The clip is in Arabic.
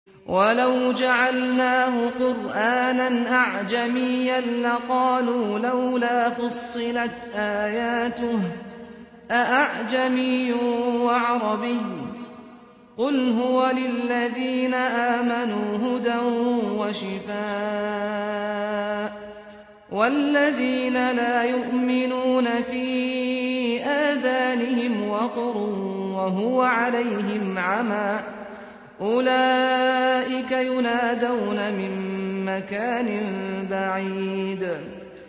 وَلَوْ جَعَلْنَاهُ قُرْآنًا أَعْجَمِيًّا لَّقَالُوا لَوْلَا فُصِّلَتْ آيَاتُهُ ۖ أَأَعْجَمِيٌّ وَعَرَبِيٌّ ۗ قُلْ هُوَ لِلَّذِينَ آمَنُوا هُدًى وَشِفَاءٌ ۖ وَالَّذِينَ لَا يُؤْمِنُونَ فِي آذَانِهِمْ وَقْرٌ وَهُوَ عَلَيْهِمْ عَمًى ۚ أُولَٰئِكَ يُنَادَوْنَ مِن مَّكَانٍ بَعِيدٍ